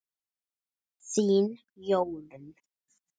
Þín Jórunn.